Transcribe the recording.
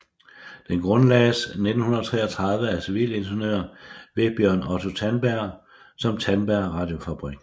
Den grundlagdes 1933 af civilingeniør Vebjørn Otto Tandberg som Tandberg Radiofabrikk